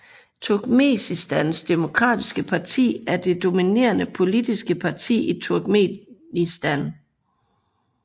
Turkmenistans demokratiske parti er det dominerende politiske parti i Turkmenistan